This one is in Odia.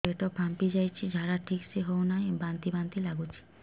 ପେଟ ଫାମ୍ପି ଯାଉଛି ଝାଡା ଠିକ ସେ ହଉନାହିଁ ବାନ୍ତି ବାନ୍ତି ଲଗୁଛି